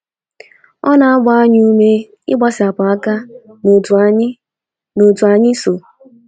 O na - agba anyị ume ịgbasapụ aka n' otu anyị n' otu anyị so.